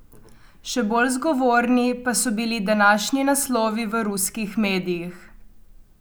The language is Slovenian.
Še bolj zgovorni pa so bili današnji naslovi v ruskih medijih.